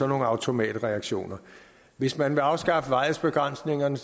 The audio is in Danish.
automatreaktioner hvis man vil afskaffe varighedsbegrænsningen